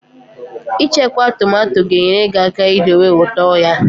Ichekwa tomato ga-enyere aka idowe ụtọ ya